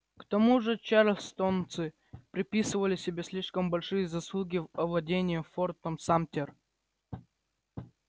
к тому же чарльстонцы приписывали себе слишком большие заслуги в овладении фортом самтер